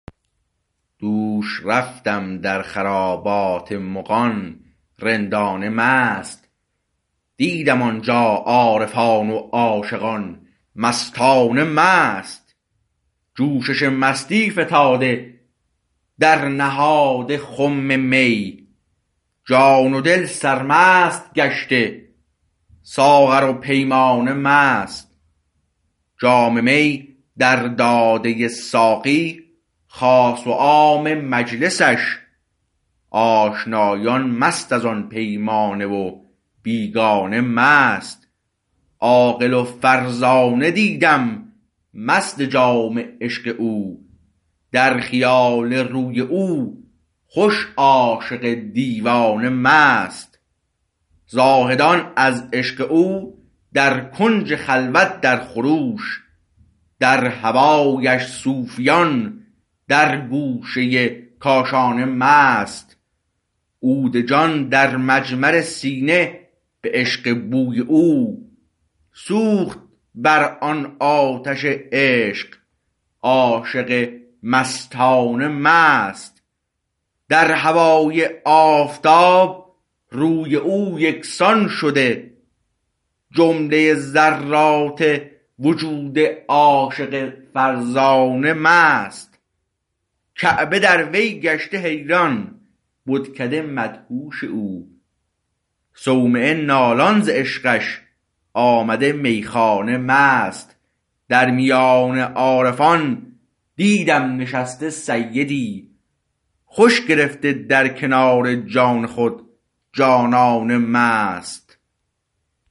دوش رفتم در خرابات مغان رندانه مست دیدم آنجا عارفان و عاشقان مستانه مست جوشش مستی فتاده در نهاد خم می جان و دل سرمست گشته ساغر و پیمانه مست جام می در داده ساقی خاص و عام مجلسش آشنایان مست از آن پیمانه و بیگانه مست عاقل و فرزانه دیدم مست جام عشق او در خیال روی او خوش عاشق دیوانه مست زاهدان از عشق او در کنج خلوت در خروش در هوایش صوفیان در گوشه کاشانه مست عود جان در مجمر سینه به عشق بوی او سوخت بر آن آتش عشق عاشق مستانه مست در هوای آفتاب روی او یکسان شده جمله ذرات وجود عاشق فرزانه مست کعبه در وی گشته حیران بتکده مدهوش او صومعه نالان ز عشقش آمده میخانه مست در میان عارفان دیدم نشسته سیدی خوش گرفته در کنار جان خود جانانه مست